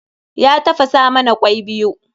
Ya tafasa mana kwai biyu.